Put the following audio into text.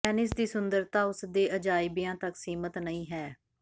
Venice ਦੀ ਸੁੰਦਰਤਾ ਉਸ ਦੇ ਅਜਾਇਬਿਆਂ ਤੱਕ ਸੀਮਿਤ ਨਹੀਂ ਹੈ